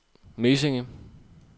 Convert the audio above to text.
Mesinge